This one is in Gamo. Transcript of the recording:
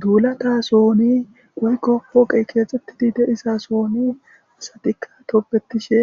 duulata sooni woykko pooqey keexettidi deisa sooni asatikka tobetishe